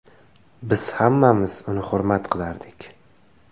Biz hammamiz uni hurmat qilardik.